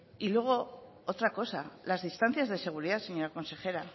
y luego otra cosa las distancias de seguridad señora consejera